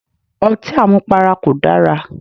Otí àmupara kò dara.